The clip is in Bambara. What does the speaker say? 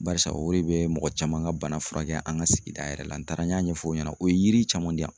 Barisa o de bɛ mɔgɔ caman ka bana furakɛ an ka sigida yɛrɛ la n taara n y'a ɲɛfɔ o ɲɛna o ye yiri caman di yan.